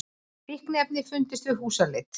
Fíkniefni fundust við húsleit